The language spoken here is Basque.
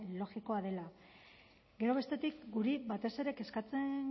logikoa dela gero bestetik guri batez ere kezkatzen